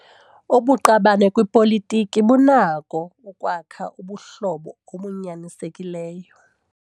Ubuqabane kwipolitiki bunako ukwakha ubuhlobo obunyanisekileyo.